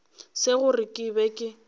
se gore ke be ke